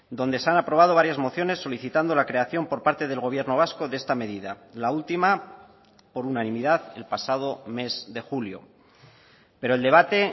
donde se han aprobado varias mociones solicitando la creación por parte del gobierno vasco de esta medida la última por unanimidad el pasado mes de julio pero el debate